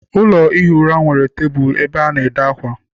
Ụlọ ihi ura nwere tebụl ebe a na- ede akwa.